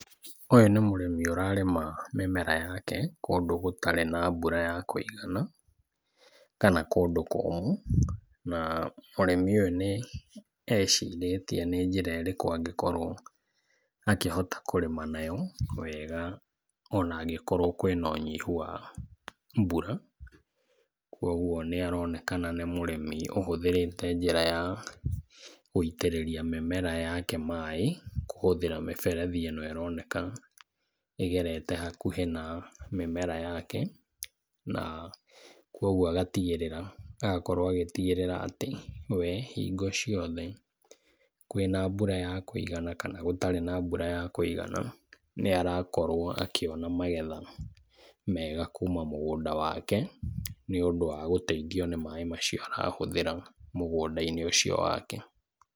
Ũyũ nĩ mũrĩmi ũrarĩma mĩmera yake kũndũ gũtarĩ na mbura ya kũigana kana kũndũ kũmũ. Na mũrĩmi ũyũ nĩ ecirĩtie nĩ njĩrerĩkũ angĩkorwo akĩhota kũrĩma nayo wega ona angĩkorwo kwĩna ũnyihu wa mbura. Kwoguo nĩ aronekana nĩ mũrĩmi ũhũthĩrĩte njĩra ya gũitĩrĩria mĩmera yake maaĩ kũhũthĩra mĩberethi ĩno ĩroneka ĩgerete hakuhĩ na mĩmera yake, na kwoguo agatigĩrĩra, agakorwo agĩtigĩrĩra atĩ we hingo ciothe, kwĩna mbura ya kũigana kana gũtarĩ na mbura ya kũigana nĩ arakorwo akĩona magetha mega kuma mũgũnda wake, nĩ ũndũ wa gũteithio nĩ maaĩ macio arahũthĩra mũgũnda-inĩ ũcio wake.